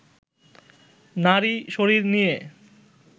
নারী শরীর নিয়ে